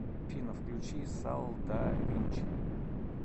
афина включи сал да винчи